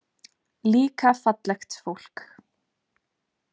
Líka fallegt fólk.